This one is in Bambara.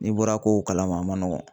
N'i bɔra kow kalama, a ma nɔgɔn.